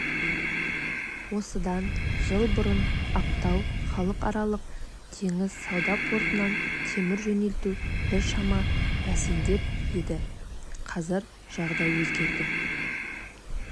осыдан жыл бұрын ақтау халықаралық теңіз сауда портынан темір жөнелту біршама бәсеңдеп еді қазір жағдай өзгерді